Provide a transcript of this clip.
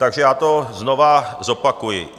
Takže já to znovu zopakuji.